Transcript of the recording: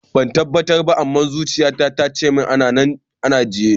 Ban tabbatar ba, amma zuciya ta tana cimin anan na ajiye.